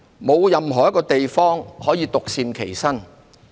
沒有任何地方可以獨善其身。